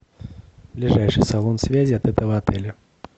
ближайший салон связи от этого отеля